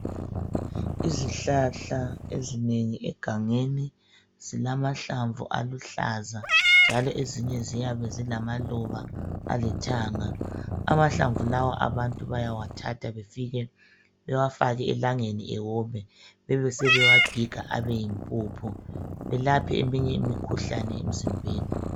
Izihlahla ezinengi egangeni zilamahlamvu aluhlaza njalo ezinye ziyabe zilamaluba alithanga. Amahlamvu lawa abantu bayawathatha befike bewafake elangeni ewome bebesebewagiga abeyimpuphu belaphe eminye imikhuhlane emzimbeni.